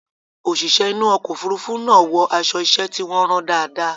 Òṣìṣẹ́ inú ọkọ̀ òfurufú náà wọ aṣọ iṣẹ́ tí wọ́n rán dáadáa.